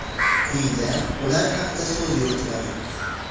Quyida ular haqida so‘z yuritiladi.